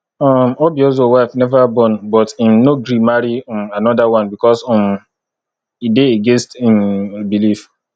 um obiozor wife never born but im no gree marry um another one because um e dey against im belief